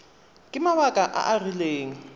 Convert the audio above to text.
ka mabaka a a rileng